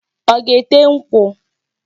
Ọ ga-ete nkwụ?